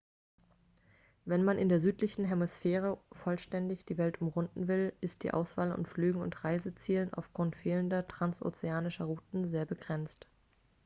wenn man in der südlichen hemisphäre vollständig die welt umrunden will ist die auswahl an flügen und reisezielen aufgrund fehlender transozeanischer routen sehr begrenzt